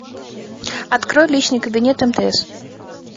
открой личный кабинет мтс